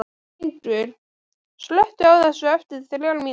Fengur, slökktu á þessu eftir þrjár mínútur.